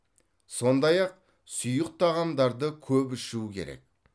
сондай ақ сұйық тағамдарды көп ішу керек